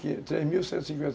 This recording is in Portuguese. três mil cento e cinquenta